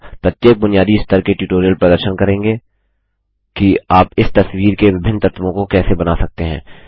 प्रत्येक बुनियादी स्तर के ट्यूटोरियल प्रदर्शन करेंगे कि आप इस तस्वीर के विभिन्न तत्वों को कैसे बना सकते हैं